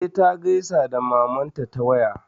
E, ta gaisa da mamanta ta waya.